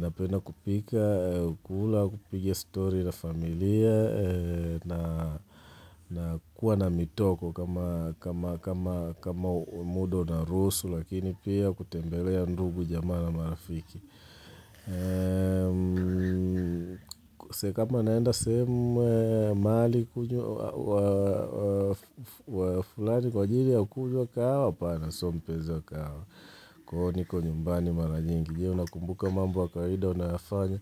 napena kupika, kula, kupiga story na familia, na kuwa na mitoko kama muda unaruhusu, lakini pia kutembelea ndugu jamaa na marafiki. Se kama naenda sehemu mahali kunywa fulani kwajiri ya kunywa kahawa apana sio mpezi kahawa, kwa hivyo niko nyumbani mara nyingi. Je, una kumbuka mambo ya kawaida unayofanya